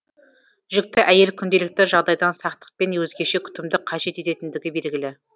жүкті әйел күнделікті жағдайдан сақтық пен өзгеше күтімді қажет ететіндігі белгілі